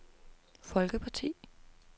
folkeparti